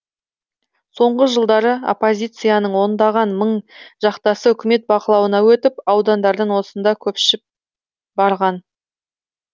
соңғы жылдары оппозицияның ондаған мың жақтасы үкімет бақылауына өткен аудандардан осында барған